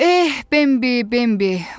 Eh, Bembi, Bembi!